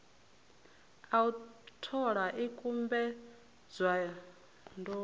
a u thola ikumbedzwa ḓo